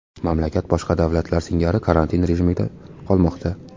Mamlakat boshqa davlatlar singari karantin rejimida qolmoqda.